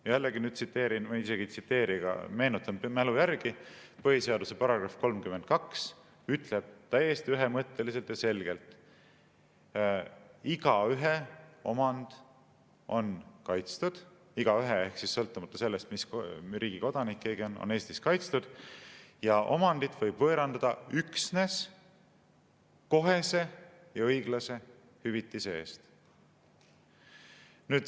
Ma tsiteerin jälle või isegi ei tsiteeri, vaid meenutan mälu järgi, et põhiseaduse § 32 ütleb täiesti ühemõtteliselt ja selgelt, et igaühe omand on – igaühe ehk sõltumata sellest, mis riigi kodanik keegi on – Eestis kaitstud ja omandit võib võõrandada üksnes kohese ja õiglase hüvitise eest.